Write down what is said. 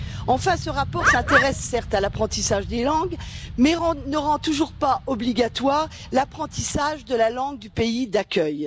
Enfin, ce rapport s'intéresse certes à l'apprentissage des langues, mais ne rend toujours pas obligatoire l'apprentissage de la langue du pays d'accueil.